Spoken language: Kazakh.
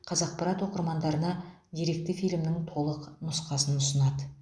қазақпарат оқырмандарына деректі фильмнің толық нұсқасын ұсынады